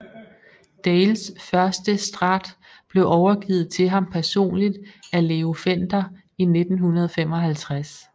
Dales første Strat blev overgivet til ham personligt af Leo Fender i 1955